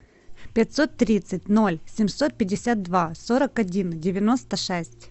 пятьсот тридцать ноль семьсот пятьдесят два сорок один девяносто шесть